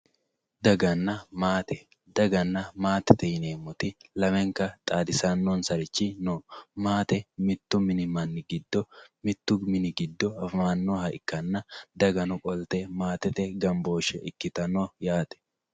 daganna maate daganna matete yineemmoti lamenka xaadisaansari no maate mittu mini giddo mittu mini giddo afamannoha ikkanna dagano qolte maatete gambooshshe ikkitanno yaate.